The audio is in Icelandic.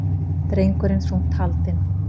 Drengurinn þungt haldinn